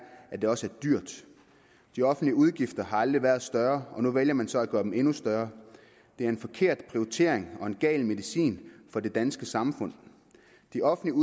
at det også er dyrt de offentlige udgifter har aldrig været større og nu vælger man så at gøre dem endnu større det er en forkert prioritering og en gal medicin for det danske samfund de offentlige